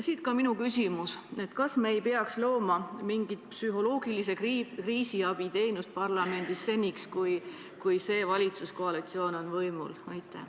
Siit ka minu küsimus: kas me ei peaks parlamendis looma mingit psühholoogilise kriisiabi teenust seniks, kuni see valitsuskoalitsioon on võimul?